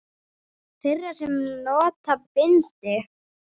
Þeirra sem nota bindi?